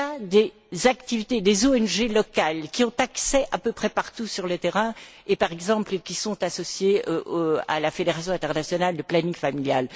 Il y a des ONG locales qui ont accès à peu près partout sur le terrain et par exemple qui sont associées à la Fédération internationale de planning familial.